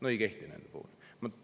No ei kehti nende puhul!